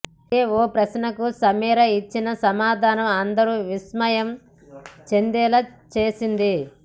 అయితే ఓ ప్రశ్నకు సమీరా ఇచ్చిన సమాధానం అందరూ విస్మయం చెందేలా చేసింది